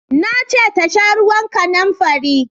Na ce ta sha ruwan kanamfari!